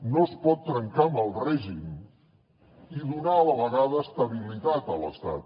no es pot trencar amb el règim i donar a la vegada estabilitat a l’estat